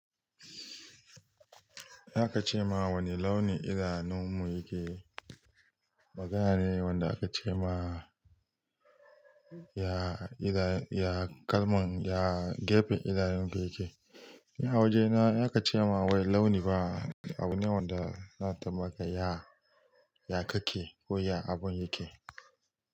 Za ka ce ma wani launi idanunmu yake. Magana ne wanda aka ce ma ya, ya kalman, ya gefen idanun ka yake. A waje na in aka ce ma wai launi ba abu ne wanda na tabbata ya ya kake ko ya abun yake.